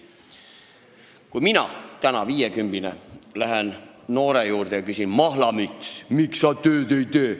Kui mina, viiekümbine, lähen noore juurde ja küsin: "Mahlamüts, miks sa tööd ei tee?